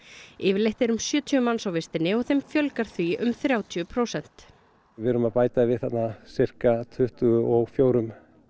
yfirleitt eru um sjötíu manns á vistinni og þeim fjölgar því um þrjátíu prósent við erum að bæta við þarna sirka tuttugu og fjórum